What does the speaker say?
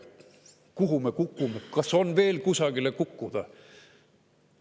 Kuhu me kukume, kas on veel kusagile kukkuda?